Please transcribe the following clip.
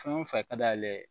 Fɛn o fɛn ka d'a ye